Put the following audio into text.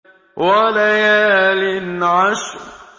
وَلَيَالٍ عَشْرٍ